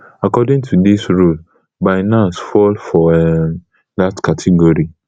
according to dis rule binance fall for um dat category